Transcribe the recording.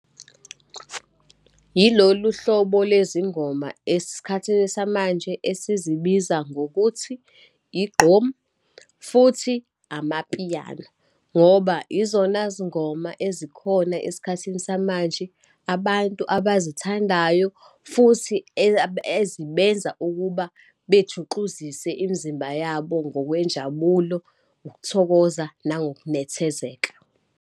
Yilolu hlobo lezingoma esikhathini samanje, esizibiza ngokuthi igqom, futhi ama-piano, ngoba izona zingoma ezikhona esikhathini samanje, abantu abazithandayo, futhi ezibenza ukuba bejuxuzise imizimba yabo ngokwe njabulo, ukuthokoza nangokunethezeka.